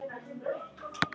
Hvað hvetur þig áfram?